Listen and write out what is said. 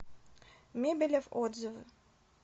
мебелев отзывы